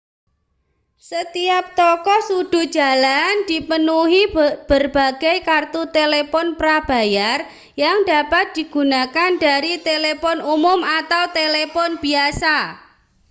setiap toko sudut jalan dipenuhi berbagai kartu telepon prabayar yang dapat digunakan dari telepon umum atau telepon biasa